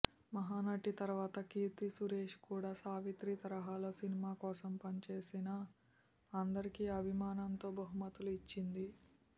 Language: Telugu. మహానటి తర్వాత కీర్తి సురేష్ కూడా సావిత్రి తరహాలో సినిమా కోసం పని చేసిన అందరికి అభిమానంతో బహుమతులు ఇచ్చింది